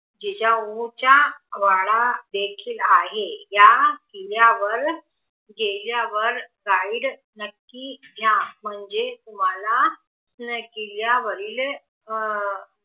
जिजाऊ चा वाडा देखील आहे या किल्ल्यावर गेल्यावर गाईड नक्की घ्या म्हणजे तुमाला किल्ल्यावरील अह